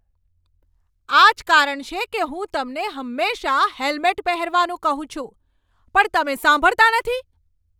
આ જ કારણ છે કે હું તમને હંમેશાં હેલ્મેટ પહેરવાનું કહું છું, પણ તમે સાંભળતા નથી.